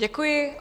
Děkuji.